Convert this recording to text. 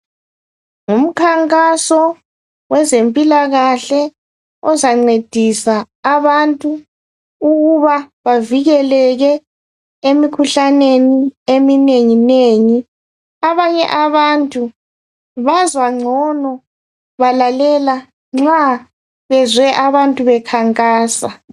Ngumkhankaso wezempilakahle ozancedisa abantu ukuba bavikeleke emikhuhlaneni eminenginengi. Abanye abantu bazwa ngcono balalela nxa bezwe abantu bekhankasa.